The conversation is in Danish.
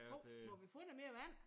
Hov! Må vi få noget mere vand?